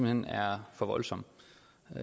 hen er for voldsom